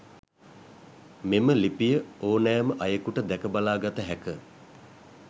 මෙම ලිපිය ඕනෑම අයෙකුට දැක බලා ගත හැක.